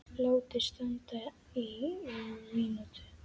Látið standa í um mínútu.